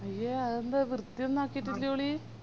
അയ്യോ അതെന്താ വൃത്തിയൊന്നും ആക്കിറ്റില്ലോളി